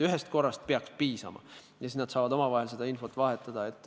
Ühest korrast peaks piisama, nad saavad omavahel seda infot vahetada.